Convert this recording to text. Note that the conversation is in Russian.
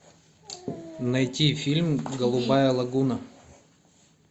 найти фильм голубая лагуна